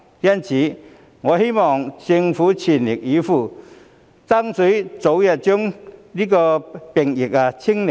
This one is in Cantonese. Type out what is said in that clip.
因此，我希望政府全力以赴，爭取早日把病疫"清零"。